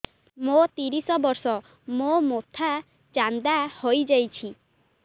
ମୋ ତିରିଶ ବର୍ଷ ମୋ ମୋଥା ଚାନ୍ଦା ହଇଯାଇଛି